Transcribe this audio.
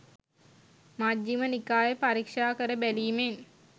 මජ්ඣිම නිකාය පරීක්ෂා කර බැලීමෙන්